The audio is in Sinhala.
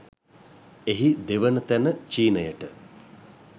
එහි දෙවන තැන චීනයට